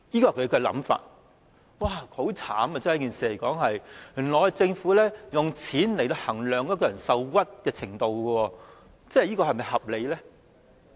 說起也很淒慘，原來政府是用金錢來衡量一個人受屈的程度，這樣是否合理？